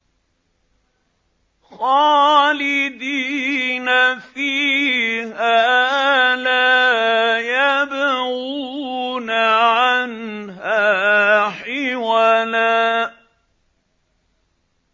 خَالِدِينَ فِيهَا لَا يَبْغُونَ عَنْهَا حِوَلًا